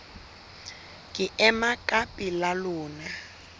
ke ema ka pela lona